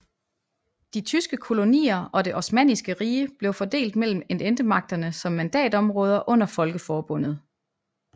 De tyske kolonier og det Osmanniske Rige blev fordelt mellem Ententemagterne som mandatområder under Folkeforbundet